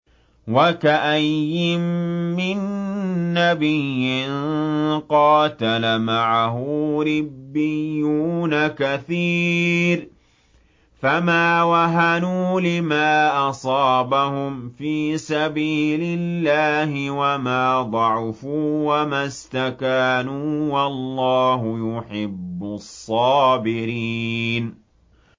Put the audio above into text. وَكَأَيِّن مِّن نَّبِيٍّ قَاتَلَ مَعَهُ رِبِّيُّونَ كَثِيرٌ فَمَا وَهَنُوا لِمَا أَصَابَهُمْ فِي سَبِيلِ اللَّهِ وَمَا ضَعُفُوا وَمَا اسْتَكَانُوا ۗ وَاللَّهُ يُحِبُّ الصَّابِرِينَ